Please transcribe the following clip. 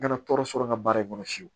Kana tɔɔrɔ sɔrɔ n ka baara in kɔnɔ fiyewu